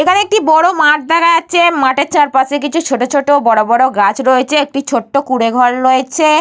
এখানে একটি বড় মাঠ দেখা যাচ্ছে মাঠের চারপাশে কিছু ছোট ছোট বড় বড় গাছ রয়েছে একটি ছোট্ট কুঁড়েঘর রয়েছে।